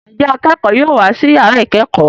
Njé akẹkọ yóò wá sí yàrá ikẹkọ?